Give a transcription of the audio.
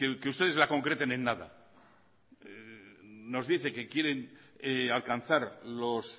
que ustedes la concreten en nada nos dicen que quieren alcanzar los